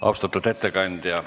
Austatud ettekandja!